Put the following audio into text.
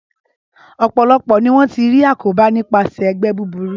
Ọpọ̀lọpò ní wọ́n ti rí àkóbá nipaṣẹ̀ ẹgbẹ́ búburu